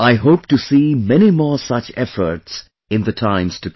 I hope to see many more such efforts in the times to come